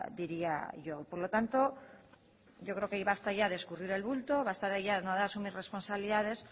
diría yo por lo tanto yo creo que basta ya de escurrir el bulto basta ya de no asumir responsabilidades